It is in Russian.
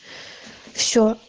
все